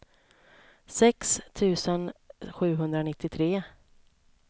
sex tusen sjuhundranittiotre